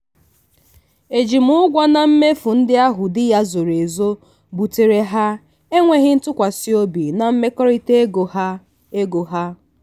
ọ na-edebe ego kwa ọnwa n'ihi akwamozu ndị na-adapụta ndị na-adapụta na mberede.